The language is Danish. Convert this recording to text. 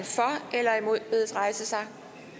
eller imod bedes rejse sig